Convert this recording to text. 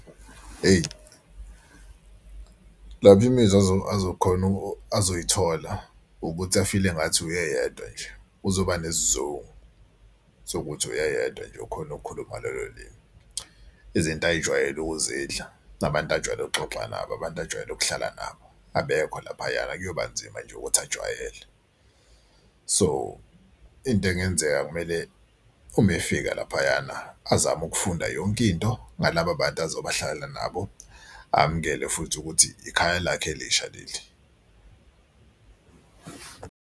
Hheyi lapha imizwa azokhona azoyithola ukuthi afile engathi uyedwa nje uzoba nesizungu sokuthi uyedwa nje ukhone ukukhuluma lolo limi. Izinto futhi ayijwayele ukuzidla nabantu ajwayele ukuxoxa nabo abantu ajwayele ukuhlala nabo abekho laphayana kuyobanzima nje ukuthi ajwayele. So into engenzeka kumele uma efika laphayana azame ukufunda yonke into ngalaba bantu azobe ahlala nabo, amukele futhi ukuthi ikhaya lakhe elisha leli.